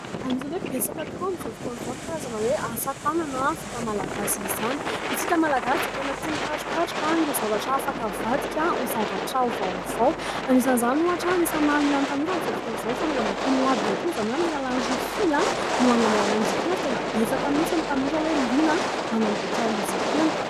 Anisany hoe betsaka tokoa amin'izao fotoana izao ny karazana hoe asa-tanana vita malagasy izany. Isika Malagasy dia tena tia mikarokaroka ireo zavatra afaka havadika ho zavatra vaovao anisan'izany ohatra : anisany mahaliana ny tanora amin'izao fotoana izao ny fanaovana itony ladina itony, izany hoe amin'ny alalan'ny rofia no anamboarana izy itony ary betsaka mihitsy ny tanora hoe liana manamboatra izy itony.